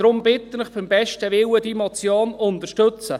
Deshalb bitte ich Sie beim besten Willen, diese Motion zu unterstützen.